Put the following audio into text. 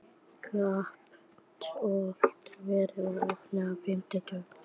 Kapitola, hvað er opið lengi á fimmtudaginn?